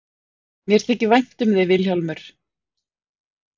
Mér þykir vænt um þig Vilhjálmur.